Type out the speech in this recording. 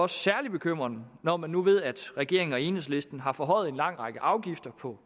særlig bekymrende når man nu ved at regeringen og enhedslisten har forhøjet afgifterne på